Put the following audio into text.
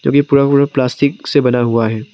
जोकि पूरा पूरा प्लास्टिक से बना हुआ है।